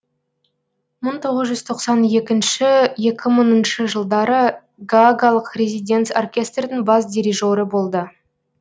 мың тоғыз жүз тоқсан екінші екі мыңыншы жылдары гаагалық резиденц оркестрдің бас дирижері болды